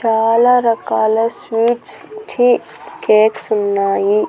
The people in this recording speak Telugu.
చాలా రకాల స్వీట్స్ ఛీ కేక్స్ ఉన్నాయి.